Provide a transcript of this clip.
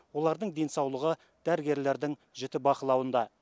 олардың денсаулығы дәрігерлердің жіті бақылауында